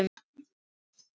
Þar lá mamma.